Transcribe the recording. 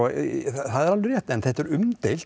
það er alveg rétt en þetta er umdeilt